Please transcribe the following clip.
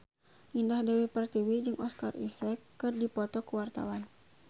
Indah Dewi Pertiwi jeung Oscar Isaac keur dipoto ku wartawan